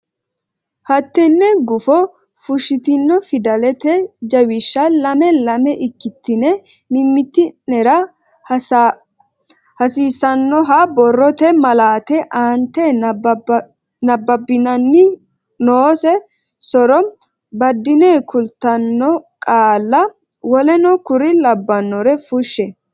hattenne gufo fushshitine fidalete jawishsha lame lame ikkitine mimmiti nera hasiisannoha borrote malaate aante nabbabbinanni noose so ro baddine kultanno qaalla woleno kuri labbannore fushshe.